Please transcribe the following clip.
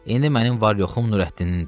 İndi mənim var-yoxum Nurəddinindir.